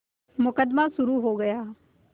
मुकदमा शुरु हो गया